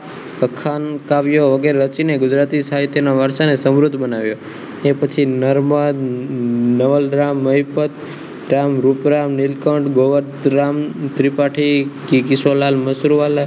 અખાન કાવ્યો વગેરે રચીને ગુજરાતી સાહિત્યના વારસાને અવરોધ બનાવ્યો નર્મદ નવલરામ મહિપત રૂપરામ નીલકંઠ ગોવર્ધરામ ત્રિપાઠી શ્રીકિશોરલાલ મસુર વાલા